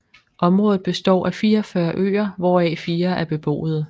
Området består af 44 øer hvoraf fire er beboede